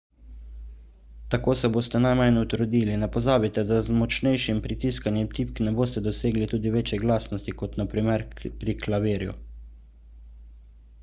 tako se boste najmanj utrudili ne pozabite da z močnejšim pritiskanjem tipk ne boste dosegli tudi večje glasnosti kot na primer pri klavirju